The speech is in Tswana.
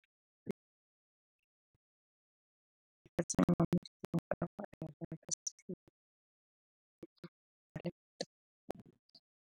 .